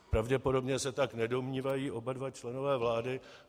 Pravděpodobně se tak nedomnívají oba dva členové vlády.